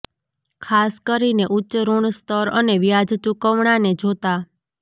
ખાસ કરીને ઉચ્ચ ઋણ સ્તર અને વ્યાજ ચુકવણાને જોતા